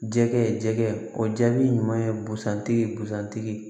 Jɛgɛ jɛgɛ o jaabi ɲuman ye bosan tigi ye busan tigi